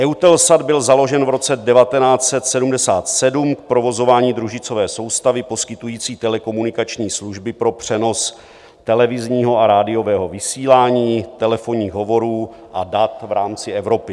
EUTELSAT byl založen v roce 1977 k provozování družicové soustavy poskytující telekomunikační služby pro přenos televizního a rádiového vysílání, telefonních hovorů a dat v rámci Evropy.